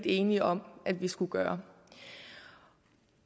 enige om at vi skulle gøre